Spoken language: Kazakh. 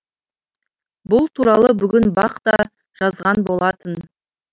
бұл туралы бүгін бақ да жазған болатын